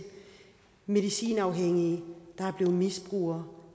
medicinafhængige der er blevet misbrugere